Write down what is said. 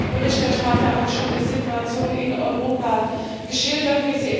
Der Berichterstatter hat schon die Situation in Europa geschildert